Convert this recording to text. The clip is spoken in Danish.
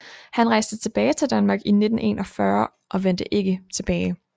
Han rejste tilbage til Danmark i 1941 og vendte ikke tilbage